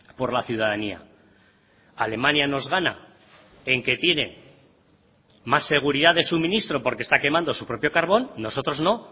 por la ciudadanía alemania nos gana en que tiene más seguridad de suministro porque está quemando su propio carbón nosotros no